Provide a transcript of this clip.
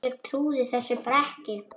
Ég trúði þessu bara ekki.